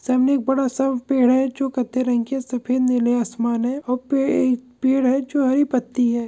सामने एक बड़ा सा पेड़ है जो कत्थई रंग के है सफेद नीले आसमान है और वहा पे एक पेड़ है जो हरी पत्ती है।